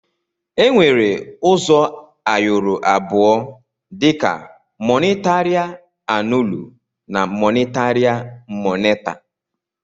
Enwere uzọ ayọrọ abụọ dika mọnitaria annụlụ na monitaria moneta.